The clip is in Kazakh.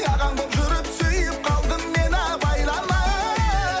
ағаң болып жүріп сүйіп қалдым мен абайламай